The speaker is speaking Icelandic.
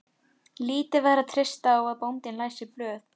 Lítið var að treysta á að bóndinn læsi blöð.